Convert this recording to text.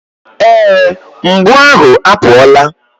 Ee, mgbu ahụ apụọla.